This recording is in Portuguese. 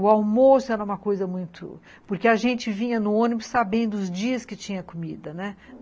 O almoço era uma coisa muito... porque a gente vinha no ônibus sabendo os dias que tinha comida, né?